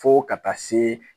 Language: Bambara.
Fo ka taa se